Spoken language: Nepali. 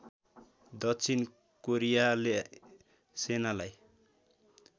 दक्षिण कोरियाले सेनालाई